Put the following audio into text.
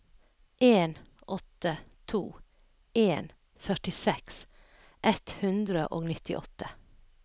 en åtte to en førtiseks ett hundre og nittiåtte